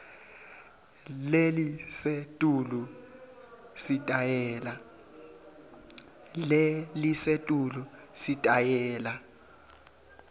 lelisetulu sitayela